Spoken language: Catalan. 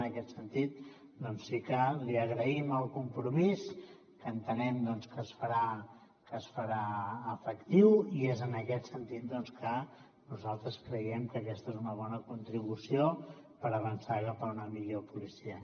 en aquest sentit doncs sí que li agraïm el compromís que entenem doncs que es farà que es farà efectiu i és en aquest sentit doncs que nosaltres creiem que aquesta és una bona contribució per avançar cap a una millor policia